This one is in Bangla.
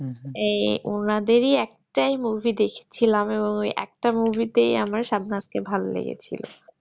এই ওঁনাদেরি একটাই movie দেখছিলাম এবং ওই একটা movie আমার ওই একটা movie তাই শাবনাজ কে ভালো লেগেছে